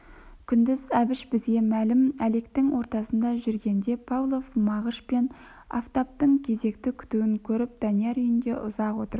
күндіз әбіш бізге мәлім әлектің ортасында жүргенде павлов мағыш пен афтаптың кезек күтуін көріп данияр үйінде ұзақ отырып